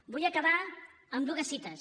vull acabar amb dues cites